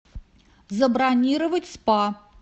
забронировать спа